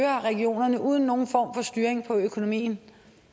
regionerne uden nogen form for styring af økonomien